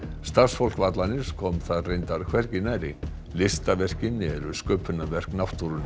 starfsfólk vallarins kom þar reyndar hvergi nærri listaverkin eru sköpunarverk náttúrunnar